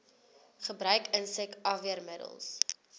gebruik insek afweermiddels